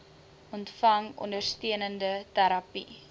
ontvang ondersteunende terapie